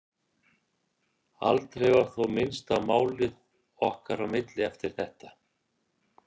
Aldrei var þó minnst á málið okkar á milli eftir þetta.